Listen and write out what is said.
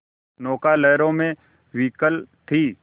नौका लहरों में विकल थी